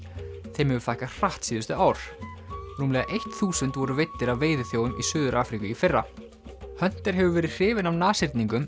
þeim hefur fækkað hratt síðustu ár rúmlega eitt þúsund voru veiddir af í Suður Afríku í fyrra hefur verið hrifinn af